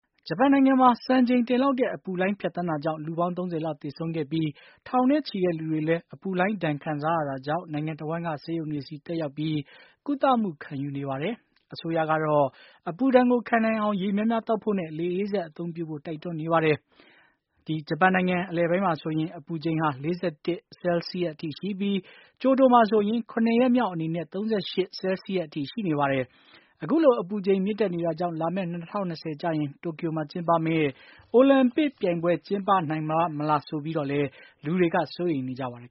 ဂျပန်နိုင်ငံမှာ စံချိန်တင်လောက်တဲ့ အပူလှိုင်းဖြတ်သန်းတာကြောင့် လူပေါင်း ၃၀ လောက်သေဆုံးပြီး ထောင်နဲ့ချီတဲ့ လူတွေလည်း အပူလှိုင်းဒဏ်ခံစားရတာကြောင့် နိုင်ငံတဝှမ်းက ဆေးရုံတွေစီ တက်ရောက်ပြီး ကုသမှုခံယူနေပါတယ်။ အစိုးရကတော့ အပူဒဏ်ကို ခံနိုင်အောင် ရေများများသောက်ဖို့နဲ့ လေအေးစက်အသုံးပြုဖို့ တိုက်တွန်းနေပါ တယ်။ ဂျပန်နိုင်ငံပိုင်းမှာဆိုရင် အပူချိန်ဟာ ၄၁ Celsius ရှိပြီး ကျိုတိုမှာဆိုရင် ၇ ရက်မြောက်အနေနဲ့ ၃၈ Celsius အထိ ရှိနေပါတယ်။ အခုလို အပူချိန်မြင့်တက်နေတာကြောင့် လာမယ့် ၂၀၂၀ ကျရင် တိုကျိုမှာကျင်းပမယ့် အိုလံပစ်ပြိုင်ပွဲ ကျင်းပ နိုင်ပါ့မလားဆိုပြီးတော့လည်း လူတွေက စိုးရိမ်နေပါတယ်